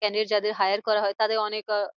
candidate যাদের hire করা হয় তাদের অনেক আহ